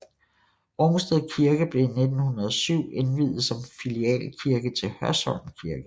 Rungsted Kirke blev i 1907 indviet som filialkirke til Hørsholm Kirke